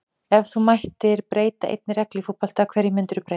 Ef þú mættir breyta einni reglu í fótbolta, hverju myndir þú breyta??